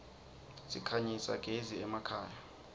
sikhanyisa gez iemakhaya